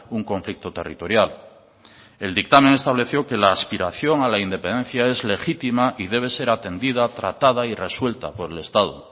un conflicto territorial el dictamen estableció que la aspiración a la independencia es legítima y debe ser atendida tratada y resuelta por el estado